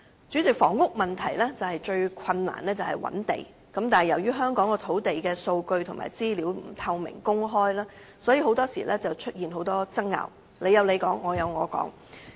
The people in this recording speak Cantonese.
主席，房屋問題最困難是覓地，但由於香港土地的數據及資料不透明公開，所以經常出現很多爭拗，各有各說。